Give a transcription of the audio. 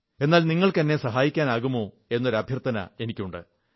എന്നാൽ നിങ്ങൾക്ക് എന്നെ സഹായിക്കാനാകുമോ എന്നൊരു അഭ്യർഥന എനിക്കുണ്ട്